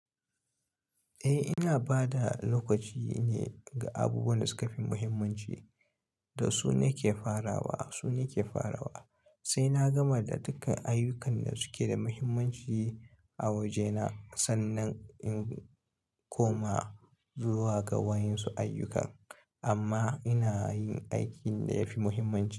Eh, ina ba da lokaci ne ga abubuwan da suka fi muhimmanci da su na ke farawa, su na ke farawa. Sai na gama da duka ayyukan da suke da muhimmanci a wajena. Sannan in koma zuwa ga waɗansu ayyukan. Amma ina yin aikin da yafi muhimmanci.